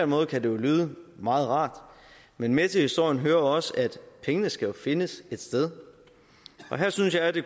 måde kan det jo lyde meget rart men med til historien hører også at pengene skal findes et sted og her synes jeg at det